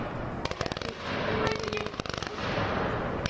Jú, jú- svaraði Kolbrún.